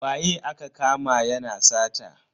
Waye aka kama yana sata?